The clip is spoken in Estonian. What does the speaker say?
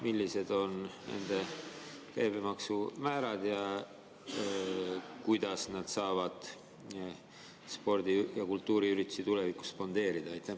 Millised on seal käibemaksumäärad ja kuidas nad saavad spordi‑ ja kultuuriüritusi tulevikus spondeerida?